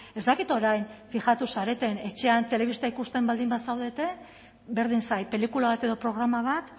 ez dakit orain fijatu zareten etxean telebista ikusten baldin bazaudete berdin zait pelikula bat edo programa bat